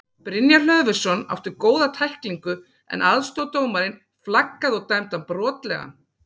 Brynjar Hlöðversson átti góða tæklingu en aðstoðardómarinn flaggaði og dæmdi hann brotlegan.